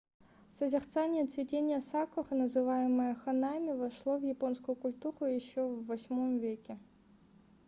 созерцание цветения сакуры называемое ханами вошло в японскую культуру еще в viii веке